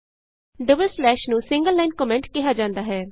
double slash ਨੂੰ single line comment ਕਿਹਾ ਜਾਂਦਾ ਹੈ